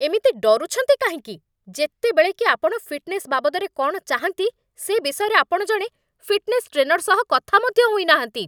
ଏମିତି ଡରୁଛନ୍ତି କାହିଁକି, ଯେତେବେଳେ କି ଆପଣ ଫିଟ୍‌ନେସ୍ ବାବଦରେ କ'ଣ ଚାହାଁନ୍ତି, ସେ ବିଷୟରେ ଆପଣ ଜଣେ ଫିଟ୍ନେସ୍ ଟ୍ରେନର୍ ସହ କଥା ମଧ୍ୟ ହୋଇନାହାନ୍ତି?